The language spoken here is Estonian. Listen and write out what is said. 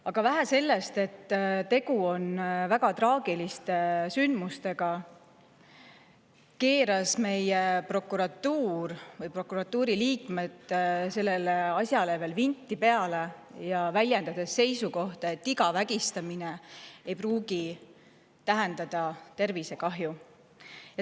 Aga vähe sellest, et tegu on väga traagiliste sündmustega, keerasid meie prokuratuuri liikmed sellele asjale veel vinti peale, väljendades seisukohta, et iga vägistamine ei pruugi tähendada tervisekahju.